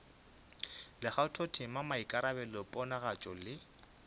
le kgathotema maikarabelo ponagatšo le